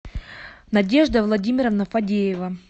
надежда владимировна фадеева